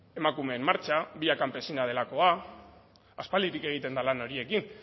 emakumeen martxa vía campesina delakoa aspalditik egiten de lan horiekin